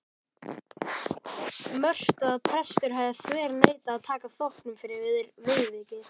Mörtu að prestur hefði þverneitað að taka þóknun fyrir viðvikið.